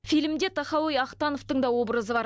фильмде тахауи ахтановтың та образы бар